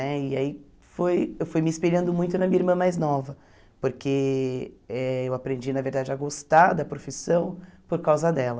Né e aí foi eu fui me espelhando muito na minha irmã mais nova, porque eh eu aprendi, na verdade, a gostar da profissão por causa dela.